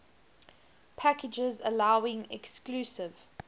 packages allowing exclusive